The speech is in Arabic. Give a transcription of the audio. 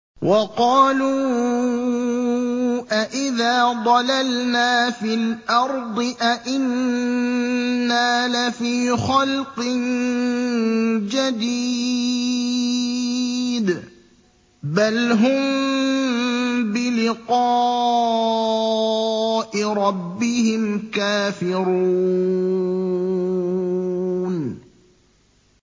وَقَالُوا أَإِذَا ضَلَلْنَا فِي الْأَرْضِ أَإِنَّا لَفِي خَلْقٍ جَدِيدٍ ۚ بَلْ هُم بِلِقَاءِ رَبِّهِمْ كَافِرُونَ